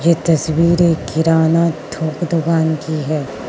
ये तस्वीर एक किराना थोक दुकान की है।